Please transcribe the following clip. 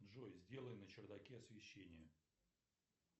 джой сделай на чердаке освещение